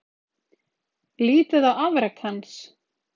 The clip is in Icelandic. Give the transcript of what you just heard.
Lítið á afrek hans